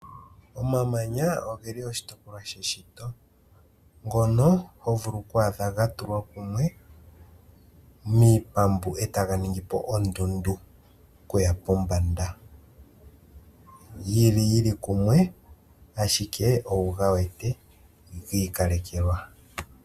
Omamanya ogeli oshitopolwa sheshito ngono ho vulu oku adha ga tulwa kumwe miipambu etaga ningi po ondunda okuya pombanda, yili kumwe ashike owuga wete giikalekelwa.